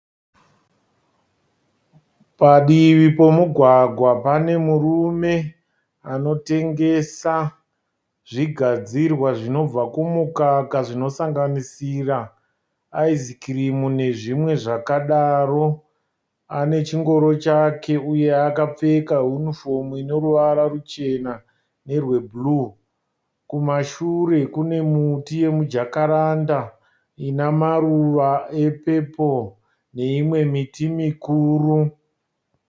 Padivi pemugwagwa pane murume anotengesa zvigadzira zvinobva kumukaka ane chingoro chake akapfeka zvipfeko zvine ruvara rebhuruu uye kudivi kwemugwagwa kune miti mikuru yemijakaranda